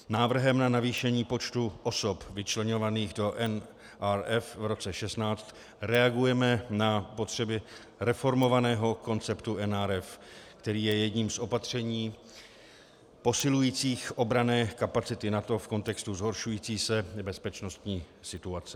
Návrhem na navýšení počtu osob vyčleňovaných do NRF v roce 2016 reagujeme na potřeby reformovaného konceptu NRF, který je jedním z opatření posilujících obranné kapacity NATO v kontextu zhoršující se bezpečnostní situace.